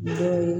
Dɔw ye